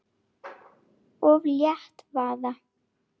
Og lét vaða.